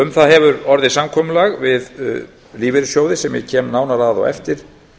um það hefur orðið samkomulag við lífeyrissjóði sem ég kem nánar að á eftir